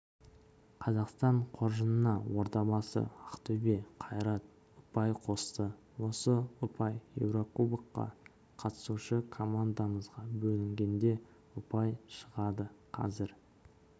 қазақстан қоржынына ордабасы ақтөбе қайрат ұпай қосты осы ұпай еурокубокқа қатысушы командамызға бөлінгенде ұпай шығады қазір